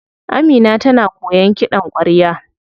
Amina tana koyan kiɗan kwarya.